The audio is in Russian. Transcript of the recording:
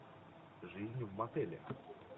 жизнь в мотеле